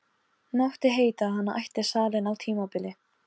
Mátti heita að hann ætti salinn á tímabili.